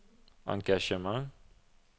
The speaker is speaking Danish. engagement